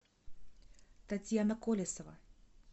татьяна колесова